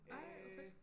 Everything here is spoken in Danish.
Ej hvor fedt